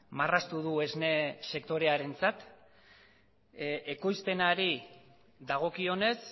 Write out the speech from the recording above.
marraztu du esne sektorearentzat ekoizpenari dagokionez